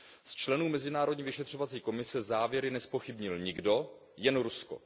Z členů mezinárodní vyšetřovací komise závěry nezpochybnil nikdo, jen Rusko.